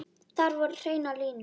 Þar voru hreinar línur.